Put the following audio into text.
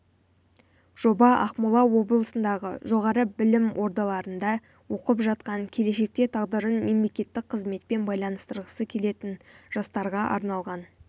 жоба ақмола облысындағы жоғары білім ордаларында оқып жатқан келешекте тағдырын мемлекеттік қызметпен байланыстырғысы келетін жастарға арналған